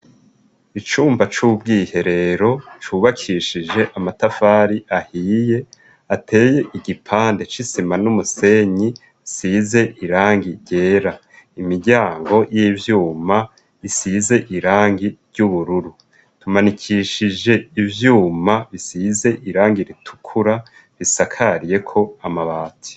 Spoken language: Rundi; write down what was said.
Icumba c'ubwiherero cubakishije amatafari ahiye ateye igipande c'isima n'umusenyi size irangi ryera imiryango y'ivyuma isize irangi ry'ubururu tumanikishije ivyuma bisize irangi irwa tukura bisakariyeko amabati.